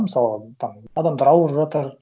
мысалға там адамдар ауырып жатыр